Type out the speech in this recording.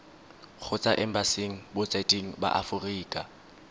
kgotsa embasing botseteng ba aforika